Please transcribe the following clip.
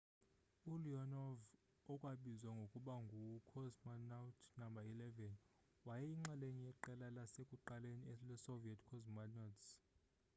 u-leonov okwabizwa ngokuba ngu cosmonaut no 11 wayeyinxalenye yeqela lasekuqaleni le soviet cosmonauts